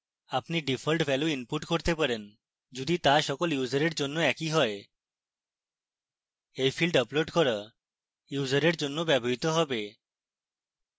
আপনি default value input করতে পারেন যদি তা সকল ইউসারের জন্য একই you you fields আপলোড করা ইউসারের জন্য ব্যবহৃত হবে